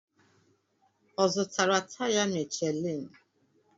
Ọ zụtara taya Michelin?